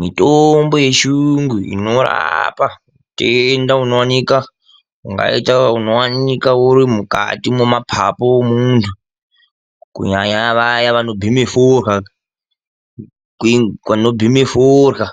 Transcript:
Mitombo yechirungu inorapa hutenda hwakaita sehutenda unowanikwa uri muma papu emundu kunyanya nyanya vanobhema forya